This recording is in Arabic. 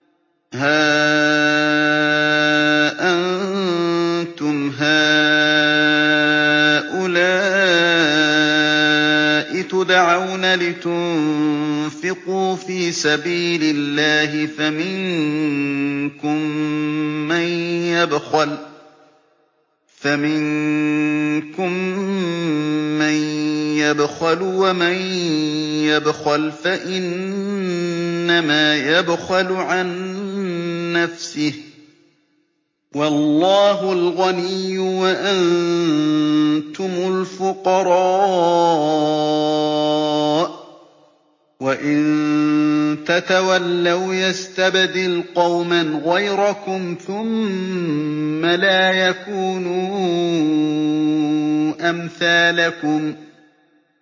هَا أَنتُمْ هَٰؤُلَاءِ تُدْعَوْنَ لِتُنفِقُوا فِي سَبِيلِ اللَّهِ فَمِنكُم مَّن يَبْخَلُ ۖ وَمَن يَبْخَلْ فَإِنَّمَا يَبْخَلُ عَن نَّفْسِهِ ۚ وَاللَّهُ الْغَنِيُّ وَأَنتُمُ الْفُقَرَاءُ ۚ وَإِن تَتَوَلَّوْا يَسْتَبْدِلْ قَوْمًا غَيْرَكُمْ ثُمَّ لَا يَكُونُوا أَمْثَالَكُم